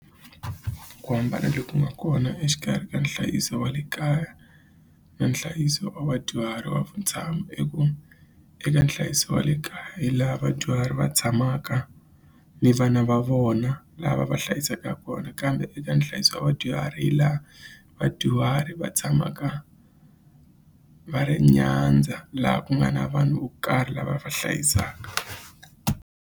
Ku hambana loku nga kona exikarhi ka nhlayiso wa le kaya na nhlayiso wa vadyuhari wa vutshamo i ku eka nhlayiso wa le kaya hi laha vadyuhari va tshamaka ni vana va vona lava va hlayisaka kona kambe eka nhlayiso wa vadyuhari hi laha vadyuhari va tshamaka va ri nyandza laha ku nga na vanhu vo karhi lava va hlayisaka.